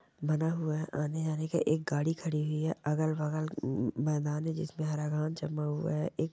बना हुआ है आने जाने की एक गाडी खडी हुई है अगल बगल मैदान है जिसमें हरा घास जमा हुआ है।